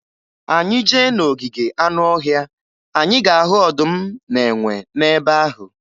Anyị jee na ogige anụọhịa, anyị ga-ahụ ọdụm na enwe n'ebe ahụ.